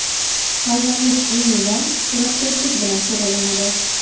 Tayvanlik Enni Vong suratkashlik bilan shug‘ullanadi.